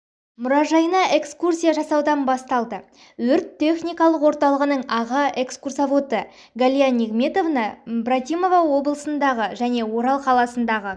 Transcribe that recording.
мұражайына экскурсия жасаудан басталды өрт-техникалық орталығының аға экскурсаводы галия нигметовна брматова облыстағы және орал қаласындағы